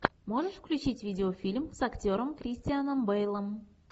можешь включить видеофильм с актером кристианом бейлом